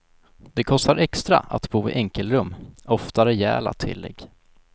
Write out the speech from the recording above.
Det kostar extra att bo i enkelrum, ofta rejäla tillägg.